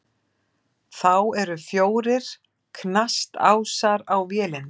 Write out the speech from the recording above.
Þá eru fjórir knastásar á vélinni.